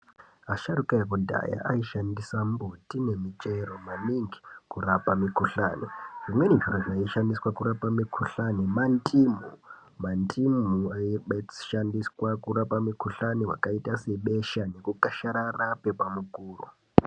Asharuka ekudhaya aishandisa mbuti nemichero maningi kurapa mikuhlani. Zvimweni zvaishandiswa kurapa mikuhlani mandimu, mandimu ebeshandiswa kurapa mukuhlani vakaita sebesha, kukasharara kwrpa mukuro.